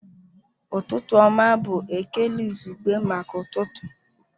Ụtụtụ ọma bụ ekele izugbe maka ụtụtụ